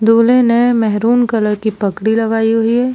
दूल्हे ने maroon colour की पगड़ी लगाई हुई है।